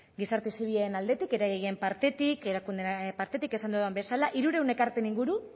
gizarte zibilen aldetik eragileen partetik erakundeen partetik esan dudan bezala hirurehun ekarpen inguru